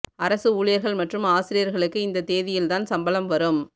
அரசு ஊழியர்கள் மற்றும் ஆசிரியர்களுக்கு இந்த தேதியில் தான் சம்பளம் வரும்